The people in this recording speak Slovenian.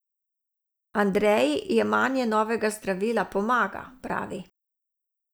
Andreji jemanje novega zdravila pomaga, pravi.